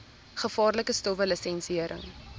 gevaarlike stowwe lisensiëring